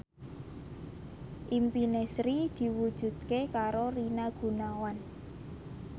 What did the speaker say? impine Sri diwujudke karo Rina Gunawan